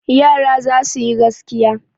Yara za su yi gaskiya.